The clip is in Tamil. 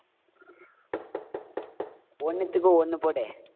ஒண்ணுத்துக்கு ஒண்ணு போடு.